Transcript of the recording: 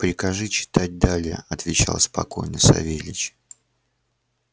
прикажи читать далее отвечал спокойно савельич